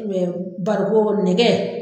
barikon, nɛgɛ.